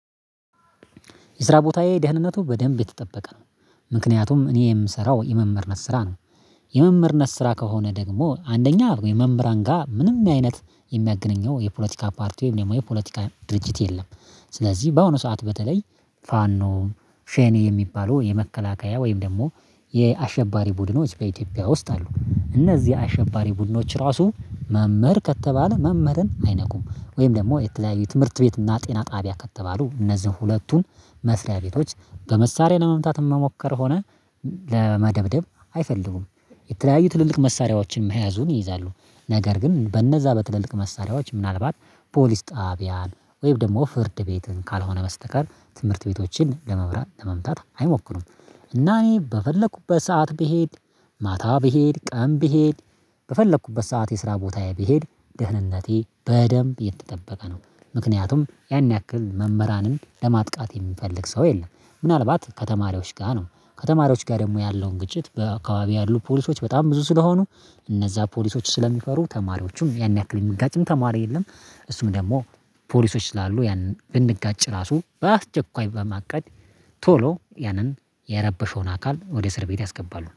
የስራ ቦታዬ ደህንነቱ በደንብ የተጠበቀ ነው። ምክንያቱም እኔ የምሰራው የመምህርነት ስራ ነው። የመምህርነት ስራ ከሆነ ደግሞ አንደኛ የመምህራን ጋራ ምንም አይነት የሚያገናኘው የፖለቲካ ፓርቲ ወይም ደግሞ የፖለቲካ ድርጅት የለም። ስለዚህ በአሁኑ ሰዓት በተለይ ፋኖ ሸኔ የሚባሉ የመከላከያ ወይም ደግሞ የአሸባሪ ቡድኖች በኢትዮጵያ ውስጥ አሉ። እነዚህ አሸባሪ ቡድኖች ራሱ መምህር ከተባለ መምህርን አይነኩም ወይም ደግሞ የተለያዩ ትምህርት ቤት እና ጤና ጣቢያ ከተባሉ እነዚህን ሁለቱን መስሪያ ቤቶች በመሳሪያ ለመምታት መሞከር ሆነ ለመደብደብ አይፈልጉም። የተለያዩ ትልልቅ መሳሪያዎችን መያዙን ይይዛሉ። ነገር ግን በነዛ በትልልቅ መሳሪያዎች ምናልባት ፖሊስ ጣቢያን ወይም ደግሞ ፍርድ ቤትን ካልሆነ በስተቀር ትምህርት ቤቶችን ለመብራት ለመምታት አይሞክሩም። እና እኔ በፈለኩበት ሰዓት ብሄድ ማታ ብሄድ ቀን ብሄድ በፈለኩበት ሰዓት የስራ ቦታዬ ብሄድ ደህንነቴ በደንብ የተጠበቀ ነው። ምክንያቱም ያን ያክል መምህራንን ለማጥቃት የሚፈልግ ሰው የለም። ምናልባት ከተማሪዎች ጋር ነው ከተማሪዎች ጋር ደግሞ ያለውን ግጭት በአካባቢ ያሉ ፖሊሶች በጣም ብዙ ስለሆኑ እነዛ ፖሊሶች ስለሚፈሩ ተማሪዎቹም ያን ያክል የሚጋጭም ተማሪ የለም። እሱም ደግሞ ፖሊሶች ስላሉ ያንን ብንጋጭ ራሱ በአስቸኳይ በማቀድ ቶሎ ያንን የረበሸውን አካል ወደ እስር ቤት ያስገባሉ